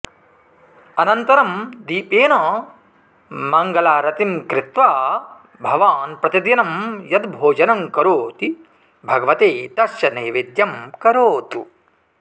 अनन्तरं दीपेन मङ्गलारतिं कृत्वा भवान् प्रतिदिनं यद् भोजनं करोति भगवते तस्य नैवेद्यं करोतु